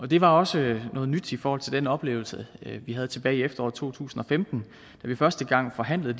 det var også noget nyt i forhold til den oplevelse vi havde tilbage i efteråret to tusind og femten da vi første gang forhandlede